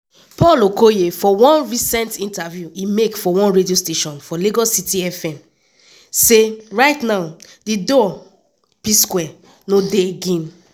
paul okoye for one recent interview e make for one radio station for lagos city fm say right now di duo p-square no dey again.